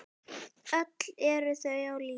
Öll eru þau á lífi.